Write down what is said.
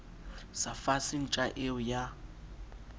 sa fase ntja eo ya